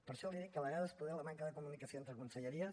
per això li dic que a vegades poder la manca de comunicació entre conselleries